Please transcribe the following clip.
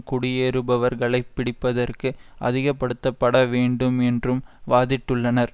குடியேறுபவர்களைப் பிடிப்பதற்கு அதிகப்படுத்தப்பட வேண்டும் என்றும் வாதிட்டுள்ளனர்